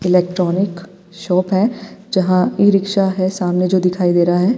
Electronic shop है जहां E rickshaw है सामने जो दिखाई दे रहा है।